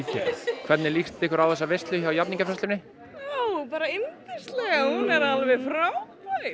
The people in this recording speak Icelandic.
hvernig líst ykkur á þessa veislu hjá jafningjafræðslunni bara yndislega hún er alveg frábær